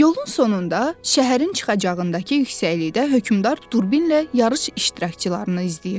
Yolun sonunda şəhərin çıxacağındakı yüksəklikdə hökmdar durbinlə yarış iştirakçılarını izləyirdi.